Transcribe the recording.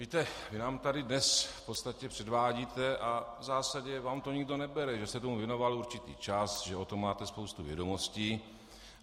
Víte, vy nám tady dnes v podstatě předvádíte, a v zásadě vám to nikdo nebere, že jste tomu věnoval určitý čas, že o tom máte spoustu vědomostí.